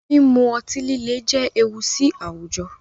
Mímú ọ̀tí-lílẹ̀ jẹ́ èwù sí àwújọ̀